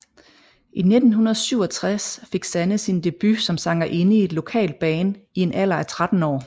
I 1967 fik Sanne sin debut som sangerinde i et lokalt band i en alder af 13 år